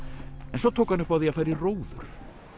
en svo tók upp á því að fara í róður